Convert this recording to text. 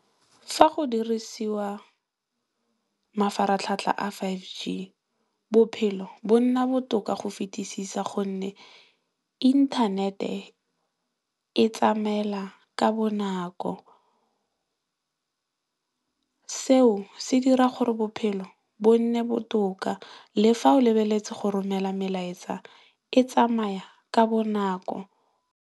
Fa go dirisiwa mafaratlhatlha a fiveG bophelo bo nna botoka go fetisisa gonne, inthanete e tsamaela ka bonako seo se dira gore bophelo bo nne botoka le fa o lebeletse go romela melaetsa e tsamaya ka bonako.